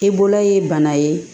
I bolo ye bana ye